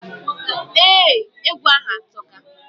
Ee, egwu ahu atoka.